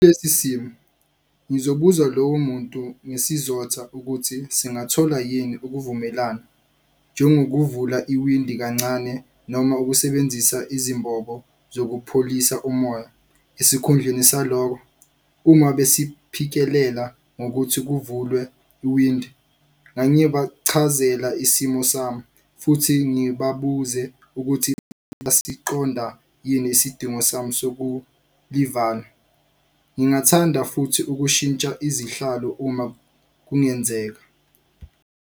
simo ngizobuza lowo muntu ngesizotha ukuthi singathola yini ukuvumelana njengokuvula iwindi kancane noma ukusebenzisa izimbob zokupholisa umoya esikhundleni saloko, uma besiphikelela ngokuthi kuvulwe iwindi ngangiyo bachazela isimo sami futhi ngibabuze ukuthi qonda yini isidingo sami soku livala. Ngingathanda futhi ukushintsha izihlalo uma kungenzeka.